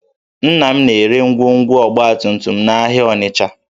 Nna m na-ere ngwongwo ọgbatumtum n'ahịa Ọnịcha